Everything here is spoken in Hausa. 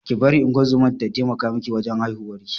Ki bari ungozoma ta taimaka miki wajan haihuwar